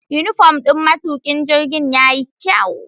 Unifom ɗin matukin jirgin yayi kyau.